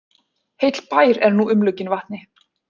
Heill bær er nú umlukinn vatni